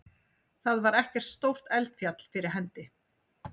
Þar var ekkert stórt eldfjall fyrir hendi.